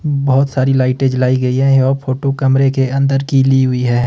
बहोत सारी लाइटे जलाई गई है यह फोटो कमरे के अंदर कि ली हुई है।